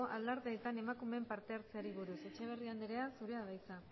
alardeetan emakumeen parte hartzeari buruz etxeberria andrea zurea da hitza